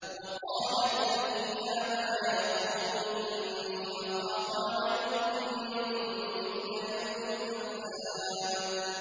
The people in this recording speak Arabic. وَقَالَ الَّذِي آمَنَ يَا قَوْمِ إِنِّي أَخَافُ عَلَيْكُم مِّثْلَ يَوْمِ الْأَحْزَابِ